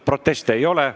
Proteste ei ole.